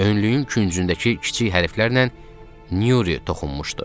Önlüyün küncündəki kiçik hərflərlə Nyuri toxunmuşdu.